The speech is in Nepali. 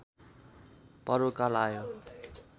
पर्वकाल आयो